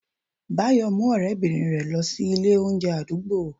bayo mu orebirin rẹ losí Ilé oúnje adugbo